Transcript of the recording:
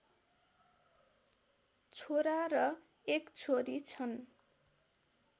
छोरा र एक छोरी छन्